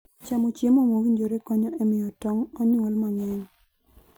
Chamo chiemo mowinjore konyo e miyo tong' onyuol mang'eny.